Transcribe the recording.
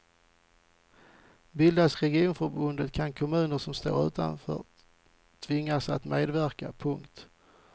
Bildas regionförbundet kan kommuner som står utanför tvingas att medverka. punkt